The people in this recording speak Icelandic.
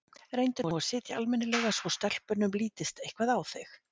Reyndu nú að sitja almennilega svo stelpunum lítist eitthvað á þig